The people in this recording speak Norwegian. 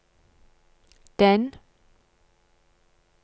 den